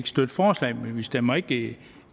støtte forslaget vi stemmer ikke